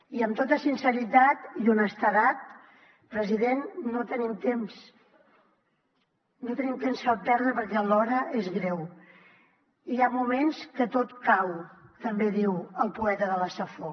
i amb tota sinceritat i honestedat president no tenim temps no tenim temps per perdre perquè l’hora és greu i hi ha moments que tot cau també diu el poeta de la safor